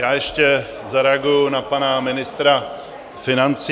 Já ještě zareaguji na pana ministra financí.